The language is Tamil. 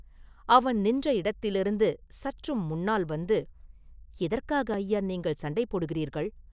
அவன் நின்ற இடத்திலிருந்து சற்றும் முன்னால் வந்து, “எதற்காக ஐயா நீங்கள் சண்டை போடுகிறீர்கள்?